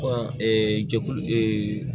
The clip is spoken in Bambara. jɛkulu